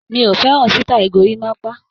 Mi ò fẹ́ràn sítáì gorímápá.